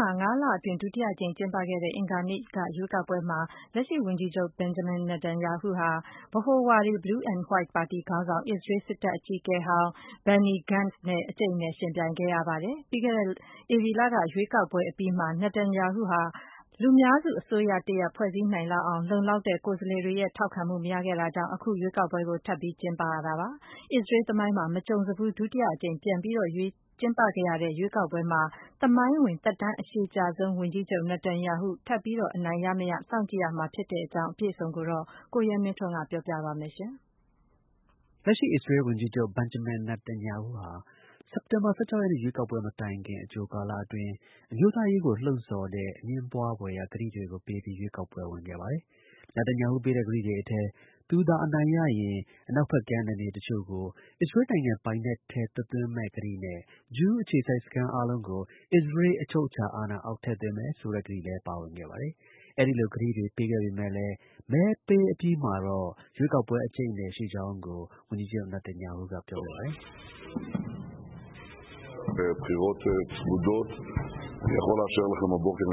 ှာ ၅ လအတွင်း ဒုတိယအကြိမ် ကျင်းပခဲ့တဲ့ ရွေးကောက်ပွဲမှာ လက်ရှိ ဝန်ကြီးချုပ် Benjamin Netanyahu ဟာ ဗဟိုဝါဒီ Blue and White ပါတီ ခေါင်းဆောင် အစ္စရေးစစ်တပ် အကြီးအကဲ ဟောင်း Benny Gantz နဲ့ အကြိတ်အနယ်ယှဉ်ပြိုင်နေရ ပါတယ်။ ပြီးခဲ့တဲ့ ဧပြီလကရွေးကောက်ပွဲ ကျင်းပခဲ့ပေမယ့်လည်း Netanyahu ဟာ လုံလောက်တဲ့ လူများစု အစိုးရတစ်ရပ် မဖွဲ့စည်းနိုင်တာ ကြောင့် အခု ရွေးကောက်ပွဲကို ထပ်မံ ကျင်းပရတာဖြစ်ပါတယ်။ အစ္စရေးလ် သမိုင်းမှာ မကြုံစဖူး ဒုတိယအကြိမ် ပြန်လည် ကျင်းပခဲ့တဲ့ ရွေးကောက်ပွဲမှာ အစ္စရေးလ်နိုင်ငံရဲ့ သမိုင်းဝင် သက်တမ်း အရှည်ကြာဆုံးဝန်ကြီးချုပ် Netanyahu ထပ်မံ အနိုင် ရမရ စောင့်ကြည့်ရမှာ ဖြစ်ပါတယ်။ အပြည့်အစုံကို ကိုရဲမင်းထွန်းက တင်ပြပေးပါမယ်။ လက်ရှိ အစ္စရေးလ် ဝန်ကြီးချုပ် Benjamin Netanyahu ဟာ စက်တင်ဘာလ ၁၆ ရက်နေ့ ရွေးကောက်ပွဲ မတိုင်ခင် အကြို ကာလအတွင်း အမျိုးသားရေးကို လှုံ့ဆော်တဲ့ အငြင်းပွားဖွယ်ရာ ကတိတွေကိုပေးပြီး ရွေးကောက်ပွဲ ဝင်ခဲ့ပါတယ်။ Netanyahu ပေးတဲ့ကတိတွေအထဲ သူသာ အနိုင်ရရင် အနောက်ဖက်ကမ်း နယ်မြေတစ်ချို့ကို အစ္စရေးလ်နိုင်ငံ ပိုင်နက်ထဲ သွတ်သွင်းမယ့်ကတိနဲ့ ဂျူးအခြေစိုက် စခန်း အားလုံးကို အစ္စရေးလ် အချုပ်အခြာအာဏာအောက် ထည့်သွင်းမယ်ဆိုတဲ့ ကတိလည်း ပါဝင်ခဲ့ပါတယ်။ အဲဒီလို ကတိပေးပေးခဲ့ပေမဲ့လည်း မဲပေးအပြီးမှာတော့ ရွေးကောက်ပွဲ အကြိတ်အနယ် ရှိကြောင်းကိုတော့ ဝန်ကြီးချုပ် Netanyahu က ပြောခဲ့ပါတယ်။ “ရွေးကောက်ပွဲက သိပ်ပြီး အကြိတ်အနယ်ရှိပါတယ်။ အ